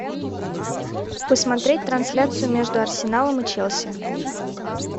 посмотреть трансляцию между арсеналом и челси